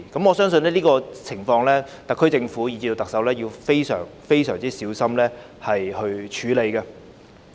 我相信對於這種情況，特區政府和特首要非常小心處理。